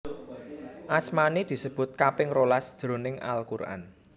Asmané disebut kaping rolas jroning Al Quran